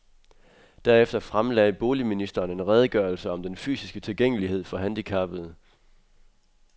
Derefter fremlagde boligministeren en redegørelse om den fysiske tilgængelighed for handicappede.